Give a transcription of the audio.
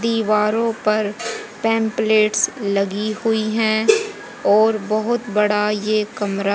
दीवारों पर पेंपलेट्स लगी हुई हैं और बहोत बड़ा ये कमरा--